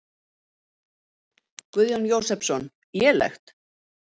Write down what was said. Guðjón Jósepsson: Lélegt?